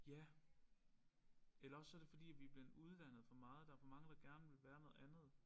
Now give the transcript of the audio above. Ja eller også så det forbi vi blevet uddannet for meget. Der for mange der gerne vil være noget andet